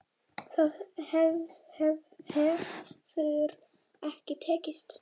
Það hefur ekki tekist.